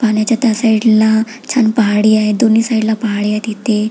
पाण्याच्या त्या साइड ला छान पहाडी आहे दोन्ही साइड ला पहाडी आहे तिथे --